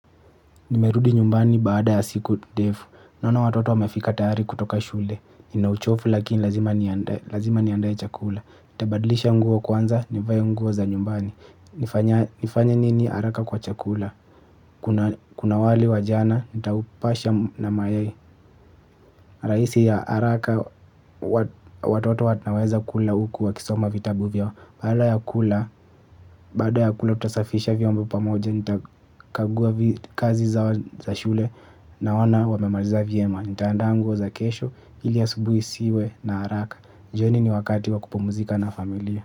Nimerudi nyumbani baada ya siku ndefu, naono watoto wamefika tayari kutoka shule, ninauchovu lakini lazima niandae chakula, nitabadlisha nguo kwanza, nivae nguo za nyumbani, nifanya nini haraka kwa chakula? Kuna wali wa jana, nitaupasha na mayai. Rahisi ya haraka, watoto wanaweza kula huku wakisoma vitabu vyao. Baada ya kula, baada ya kula tutasafisha vyombo pamoja. Nitakagua kazi zao shule naona wamemaliza vyema. Nitaandaa nguo za kesho, ili asubuhi isiwe na haraka. Jioni ni wakati wa kupumzika na familia.